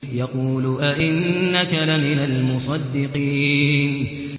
يَقُولُ أَإِنَّكَ لَمِنَ الْمُصَدِّقِينَ